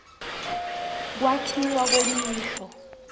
kwakhiwa kwemisho